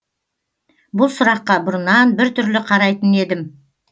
бұл сұраққа бұрыннан біртүрлі қарайтын едім